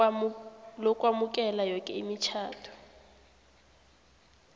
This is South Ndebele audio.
lokwamukela yoke imitjhado